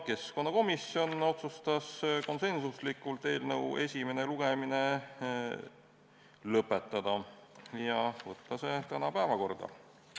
Keskkonnakomisjon otsustas konsensusega eelnõu esimese lugemise lõpetada ja võtta see tänasesse päevakorda.